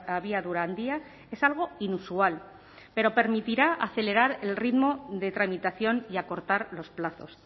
abiadura handia es algo inusual pero permitirá acelerar el ritmo de tramitación y acortar los plazos